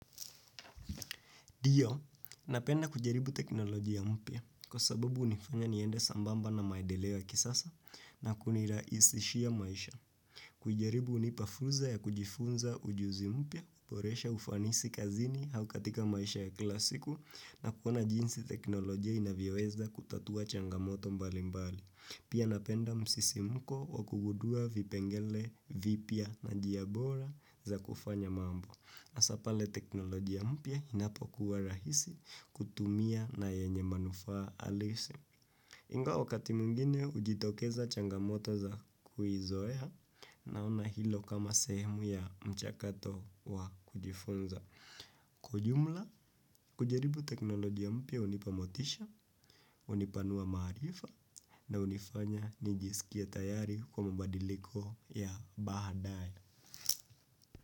Dio, napenda kujaribu teknoloji ya mpia kwa sababu unifanya niende sambamba na maendeleo ya kisasa na kunirahishia maisha. Kujaribu unipafuza ya kujifunza ujuzi mpia, uporesha ufanisi kazini haukatika maisha ya kila siku na kuona jinsi teknoloji ya inavyoweza kutatua changamoto mbali mbali. Pia napenda msisimko wa kugudua vipengele vipia na njia bora za kufanya mambo. Sasa pale teknoloji mpia inapo kuwa rahisi kutumia na yenye manufaa alisi. Ingao wakati mungine ujitokeza changamoto za kuhizoeha na una hilo kama sehemu ya mchakato wa kujifunza. Kwa jumla, kujaribu teknoloji ya mpia unipamotisha, unipanua maarifa na unifanya nijisikia tayari kwa mabadiliko ya baadaye.